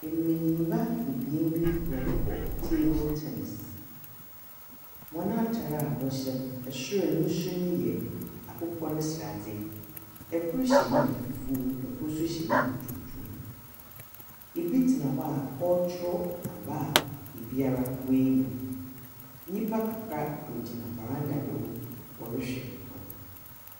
Mbenyinba ebien bi wɔrobɔ table tenis. Hɔn atar a wɔhyɛ no, sor no su no ya akokɔ ne sradze. Kor hyɛ nika fufuo, kor nso hyɛ nika tuntum. Bi tsena hɔ a ɔrekyerɛw aba a obiara woenya. Nyimpa kakra wogyina veranda do wɔrehwɛ hɔn.